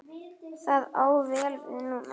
Það á vel við núna.